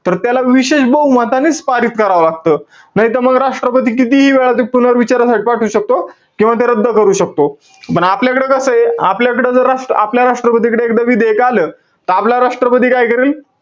तर त्याला विशेष बहुमतानेच पारित करावं लागतं. नाहीतर म राष्ट्रपती कितीही वेळा ते पुनर्विचारासाठी पाठवू शकतो. किंवा ते रद्द करू शकतो. पण आपल्याकडं कसंय? आपल्याकडं जर राष्ट्र~ आपल्या राष्ट्रपतीकडे एकदा विधेयक आलं, त आपला राष्ट्रपती काय करेल?